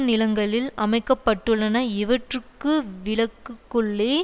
நிலங்களில் அமைக்க பட்டுள்ளன இவற்றுக்கு விளக்குக்குள்ளே